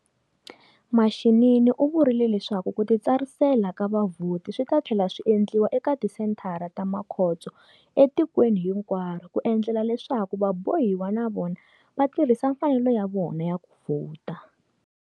Mashinini u vurile leswaku ku titsarisela ka vavhoti swi ta tlhela swi endliwa eka tisenthara ta makhotso etikweni hinkwaro ku endlela leswaku vabohiwa na vona va tirhisa mfanelo ya vona ya ku vhota.